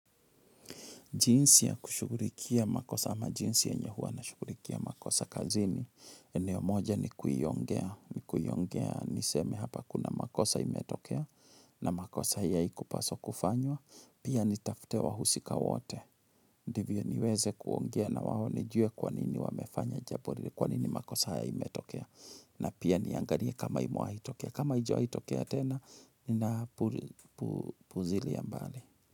Jinsi ya kushugulikia makosa ama jinsi yenye huwa nashugulikia makosa kazini. Eneo moja ni kuiongea. Nikuiongea niseme hapa kuna makosa imetokea na makosa ya haikupaswa kufanywa. Pia nitafute wahusika wote. Ndivyo niweze kuongea na wao nijue kwa nini wamefanya jambo ni kwa nini makosa ya imetokea. Na pia niangalie kama imewahitokea. Kama haijawahi tokea tena ninapuzilia mbali.